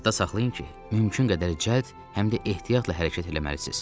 Yadda saxlayın ki, mümkün qədər cəld, həm də ehtiyatla hərəkət eləməlisiniz.